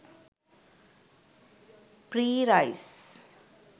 free rice